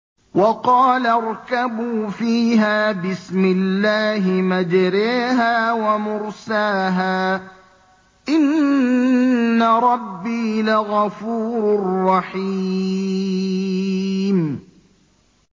۞ وَقَالَ ارْكَبُوا فِيهَا بِسْمِ اللَّهِ مَجْرَاهَا وَمُرْسَاهَا ۚ إِنَّ رَبِّي لَغَفُورٌ رَّحِيمٌ